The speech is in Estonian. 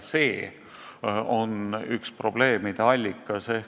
See on üks probleemide allikas.